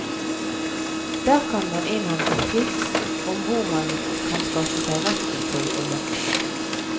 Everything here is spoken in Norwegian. Der kan man innhente tips om hvor man kan skaffe seg retten til å jakte.